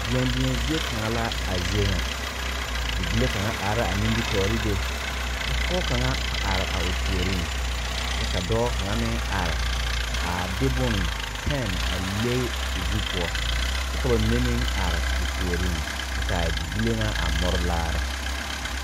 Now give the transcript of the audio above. Deɛn deɛn zeɛ kanga la a zeɛ nga bibile kanga arẽ a nimitoore be ka poɔ kanga arẽ a ɔ poɔring kye ka doɔ kanga meng arẽ a de bun pen a le ɔ zu pou kye ka ba menne meng arẽ ɔ poɔring kye ka a bibile nga a muri laare.